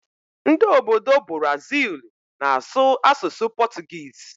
Ndị obodo Buraziilu na-asụ asụsụ pọtụgịịsị.